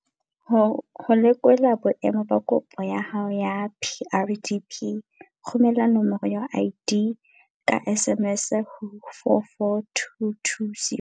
Ho lekola boemo ba kopo ya hao ya PrDP, romela nomoro ya ID ka SMS ho 44220.